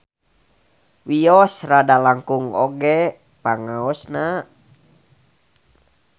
Wios rada langkung oge pangaosna